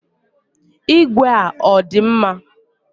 Ìgwè a ọ dị mma?